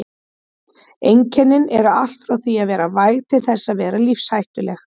Einkennin eru allt frá því að vera væg til þess að vera lífshættuleg.